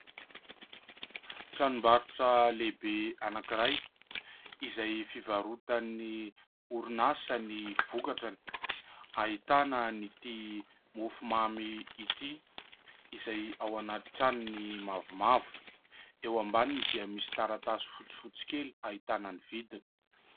Tranombarotra lehibe anankiray izay fivarotan'ny orinasa ny vokatrany. Ahitana an'ity mofo mamy ity izay ao anaty tranony mavomavo. Eo ambaniny dia misy taratasy fotsifotsy kely hahitana ny vidiny.